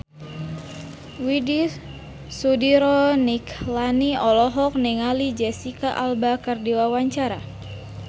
Widy Soediro Nichlany olohok ningali Jesicca Alba keur diwawancara